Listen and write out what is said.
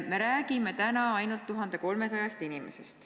Me räägime täna ainult 1300 inimesest.